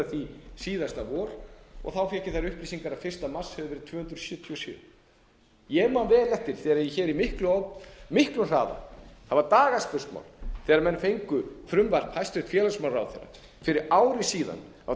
því síðasta vor og þá fékk ég þær upplýsingar að fyrsta mars hefðu þeir verið tvö hundruð sjötíu og sjö ég man vel eftir þegar hér í miklum hraða það var dagaspursmál þegar menn fengu frumvarp hæstvirts félagsmálaráðherra fyrir ári síðan það átti að